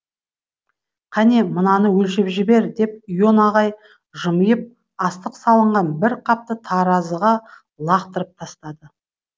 қәне мынаны өлшеп жібер деп ион ағай жымиып астық салынған бір қапты таразыға лақтырып тастады